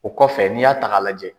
O kɔfɛ n'i y'a ta k'a lajɛ.